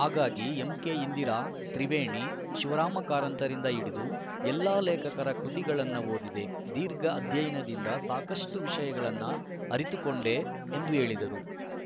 ಹಾಗಾಗಿ ಎಂಕೆಇಂದಿರಾ ತ್ರಿವೇಣಿ ಶಿವರಾಮ ಕಾರಂತರಿಂದ ಹಿಡಿದು ಎಲ್ಲಾ ಲೇಖಕರ ಕೃತಿಗಳನ್ನು ಓದಿದೆ ದೀರ್ಘ ಅಧ್ಯಯನದಿಂದ ಸಾಕಷ್ಟುವಿಷಯಗಳನ್ನು ಅರಿತುಕೊಂಡೆ ಎಂದು ಹೇಳಿದರು